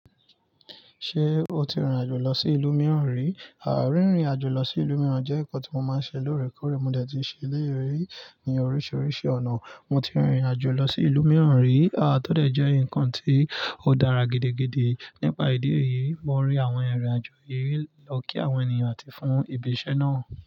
Ṣé o ti rìnrìn àjò lọ sí ìlú mìíràn rí? Àà, rìnrìn àjò lọ sí ìlú mìíràn jẹ́ ǹkan tí mo máa ń ṣe lóòrèkóòrè. Mo dẹ̀ ti ṣe eléyìí ri ní oríṣiríṣi ọ̀nà. Mo ti rìnrìn àjò lọ sí ìlú mìíràn rí. Tọ́ dẹ̀ jẹ́ ǹǹkan tí ó dára gidi gidi, nípa ìdí èyí, mo rí àwọn irin àjò yìí lọ kí àwọn ènìyàn àti fún ìbi iṣẹ náà.